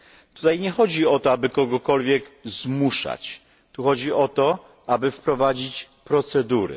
Tutaj nie chodzi o to, aby kogokolwiek zmuszać, tu chodzi o to, aby wprowadzić procedury.